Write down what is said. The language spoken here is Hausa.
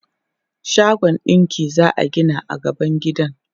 Shagon ɗinki za a gina a gaban gidan.